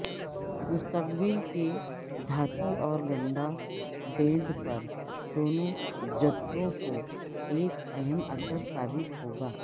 مستقبل کے دھاتی اور گنڈا بینڈ پر دونوں جدتوں کو ایک اہم اثر ثابت ہوگا